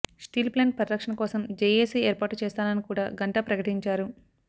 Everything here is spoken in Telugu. స్టీల్ ప్లాంటు పరిరక్షణ కోసం జేఏసీ ఏర్పాటు చేస్తానని కూడా గంటా ప్రకటించారు